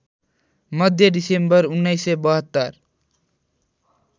Madhya December १९७२